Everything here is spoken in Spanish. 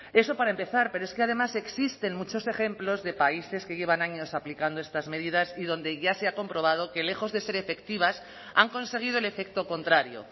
eso para empezar pero es que además existen muchos ejemplos de países que llevan años aplicando estas medidas y donde ya se ha comprobado que lejos de ser efectivas han conseguido el efecto contrario